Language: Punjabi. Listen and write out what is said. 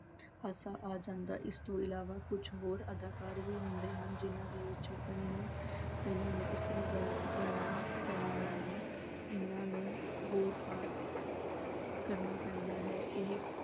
ਹਾਸਾ ਆ ਜਾਂਦਾ ਇਸ ਤੋਂ ਇਲਾਵਾ ਕੁੱਝ ਹੋਰ ਅਦਾਕਾਰ ਵੀ ਹੁੰਦੇ ਹਨ ਜਿੰਨ੍ਹਾਂ ਦੇ ਵਿੱਚੋਂ ਕਈ ਨੂੰ ਕਈਆਂ ਨੂੰ ਇਸਤਰੀ ਬਣ ਅਹ ਬਣਨਾ ਪੈਂਦਾ ਹੈ ਇਹਨਾਂ ਨੂੰ ਹੋਰ part ਕਰਨਾ ਪੈਂਦਾ ਹੈ ਇਹੇ